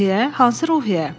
Hansı Ruhiyyə?